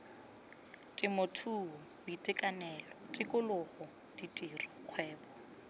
temothuo boitekanelo tikologo ditiro kgwebo